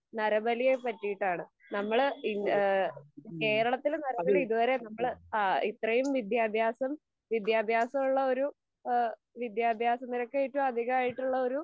നരബലിയെ പറ്റീട്ടാണ്. നമ്മൾ കേരളത്തിൽ നരബലി ഇതുവരെ, നമ്മൾ ഇത്രേം വിദ്യാഭ്യാസം, വിദ്യാഭ്യാസം ഉള്ളൊരു, വിദ്യാഭ്യാസ നിരക്ക് ഏറ്റവും അധികായിട്ടുള്ളൊരു